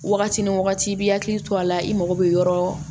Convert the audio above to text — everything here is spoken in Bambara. Wagati ni wagati i b'i hakili to a la i mago bɛ yɔrɔ